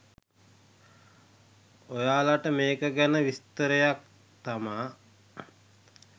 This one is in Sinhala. ඔයාලට මේක ගැන විස්තරයක් තමා.